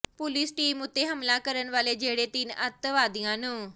police team ਉੱਤੇ ਹਮਲਾ ਕਰਨ ਵਾਲੇ ਜਿਹੜੇ ਤਿੰਨ ਅੱਤਵਾਦੀਆਂ ਨੂੰ